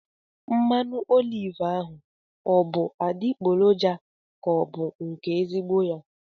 Mmanụ oliv ahụ ọ bụ adịgboroja ka ọ bụ nke ezigbo ya?